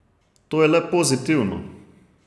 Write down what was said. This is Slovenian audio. To je le pozitivno.